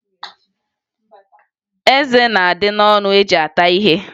Eze na-adị n'ọnụ eji ata ihe